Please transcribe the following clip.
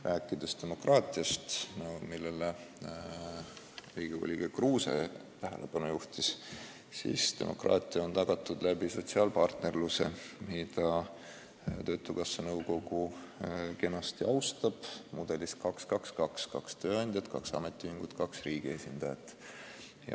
Mis puutub demokraatiasse, millele Riigikogu liige Kruuse tähelepanu juhtis, siis demokraatia on tagatud sotsiaalpartnerluse kaudu, mida töötukassa nõukogu kenasti austab, kasutades mudelit 2–2–2: nõukogus on kaks tööandjate, kaks ametiühingu ja kaks riigi esindajat.